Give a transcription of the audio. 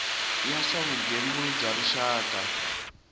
ya swa vugembuli bya rixaka